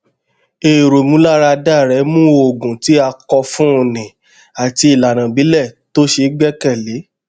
èrò ìmúláradá rẹ mú òògùn tí a kọ fún ni àti ìlànà ìbílẹ tó ṣe gbẹkẹlé